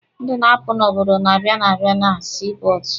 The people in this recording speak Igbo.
Ndị na-apụ n'obodo na-abịa na-abịa na sii pọọtụ.